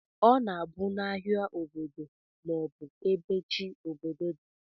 Ọna abu na ahia obodo ma ọbu ebe chi obodo di.